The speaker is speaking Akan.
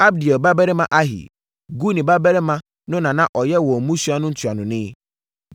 Abdiel babarima Ahi, Guni babarima no na na ɔyɛ wɔn mmusua no ntuanoni.